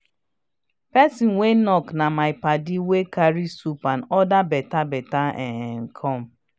person wey knock na my padi wey carry soup and other beta bata um come.